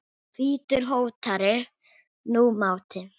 hvítur hótar nú máti.